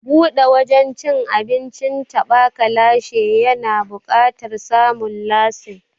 Buɗe wajen cin abincin taɓa ka lashe ya na buƙatar samun lasin.